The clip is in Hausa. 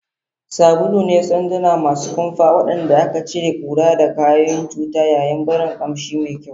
Sabulu ne sanduna masu kumfa waɗanda ke cire ƙura da ƙwayoyin cuta yayin barin ƙamshi mai kyau.